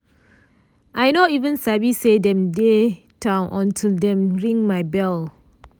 i nor even sabi say dem dey town until dem ring my bell.